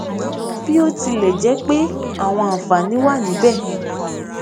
bí ó tilè jé pé àwọn àǹfààní wà níbè